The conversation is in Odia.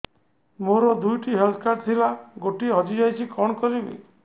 ମୋର ଦୁଇଟି ହେଲ୍ଥ କାର୍ଡ ଥିଲା ଗୋଟିଏ ହଜି ଯାଇଛି କଣ କରିବି